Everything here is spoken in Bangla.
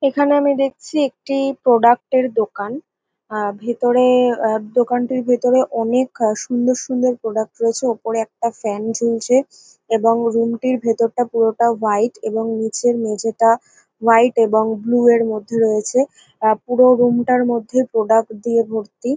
এখানে আমি দেখছি একটি-ই প্রোডাক্ট এর দোকান আ ভিতরে-এ-এ দোকানটির ভিতরে অনেক সুন্দর সুন্দর প্রোডাক্ট রয়েছে ওপরে একটা ফ্যান ঝুলছে এবং রুম -টির ভিতর টা পুরোটা হোয়াট এবং নিচের মেঝেটা হোয়াট এবং ব্লু -এর মধ্যে রয়েছে আ পুরো রুম -টার মধ্যে প্রোডাক্ট দিয়ে ভর্তি।